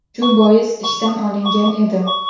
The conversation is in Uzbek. Shu bois ishdan olingan edim.